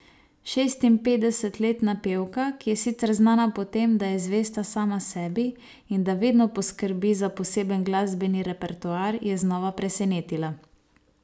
Šestinpetdesetletna pevka, ki je sicer znana po tem, da je zvesta sama sebi in da vedno poskrbi za poseben glasbeni repertoar, je znova presenetila.